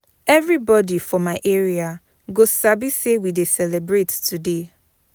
Everybody for my area go sabi say we dey celebrate today.